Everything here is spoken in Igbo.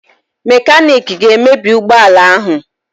Mekaniki ga-emebi ụgbọala ahụ